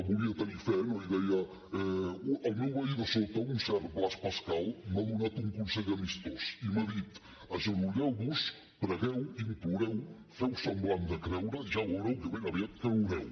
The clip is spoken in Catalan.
volia tenir fe no i deia el meu veí de sota un cert blaise pascal m’ha donat un consell amistós i m’ha dit agenolleu vos pregueu imploreu feu semblant de creure i ja veureu que ben aviat creureu